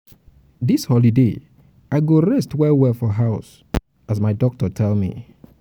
dis holiday i go rest well-well for house as my doctor tell me.